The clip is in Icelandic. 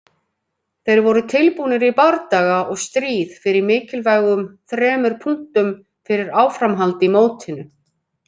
Þeir voru tilbúnir í bardaga og stríð fyrir mikilvægum þremur punktum fyrir áframhald í mótinu.